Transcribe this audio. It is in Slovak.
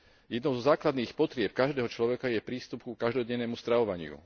Jednou zo základných potrieb každého človeka je prístup ku každodennému stravovaniu.